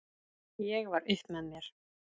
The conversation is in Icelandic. Ég var upp með mér!